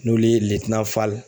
N'olu ye Fall